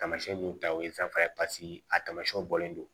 Taamasiyɛn b'u ta o ye fɛn fana ye paseke a tamasiyɛnw bɔlen don